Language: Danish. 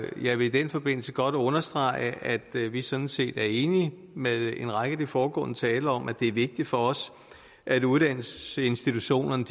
jeg vil i den forbindelse godt understrege at vi sådan set er enige med en række af de foregående talere om at det er vigtigt for os at uddannelsesinstitutionerne